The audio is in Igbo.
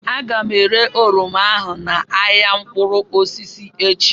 Aga m ere oroma ahụ n'ahịa mkpụrụ osisi echi